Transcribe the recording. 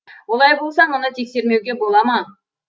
олай болса мұны тексермеуге бола ма